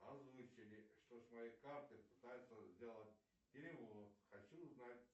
озвучили что с моей карты пытаются сделать перевод хочу узнать